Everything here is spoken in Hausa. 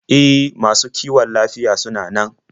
E, masu kiwon lafiyar sunan nan.